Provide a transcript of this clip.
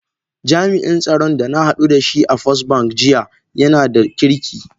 Jami’in tsaron da na hadu da shi a Firstbank jiya yana da kirki.